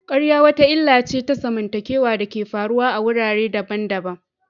ƙarya wata illa ce ta zamantakewa da ke faruwa a wurare daban-daban.